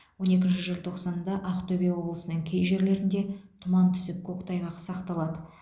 он екінші желтоқсанда ақтөбе облысының кей жерлерінде тұман түсіп көктайғақ сақталады